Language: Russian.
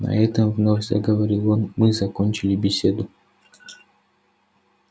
на этом вновь заговорил он мы закончили беседу